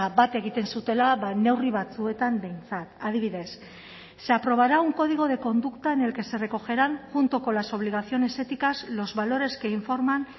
bat egiten zutela neurri batzuetan behintzat adibidez se aprobará un código de conducta en el que se recogerán junto con las obligaciones éticas los valores que informan